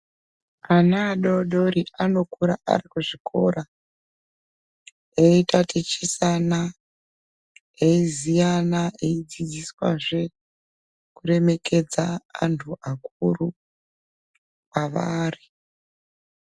Ana adodori anokura ari ku zvikora eyi tatichisana eyi ziyana eyi dzidziswa zve ku remekedza antu akuru kwavari.